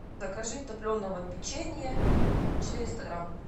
закажи топленого печенья четыреста грамм